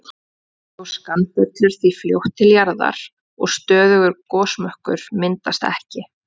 Gjóskan fellur því fljótt til jarðar og stöðugur gosmökkur myndast ekki.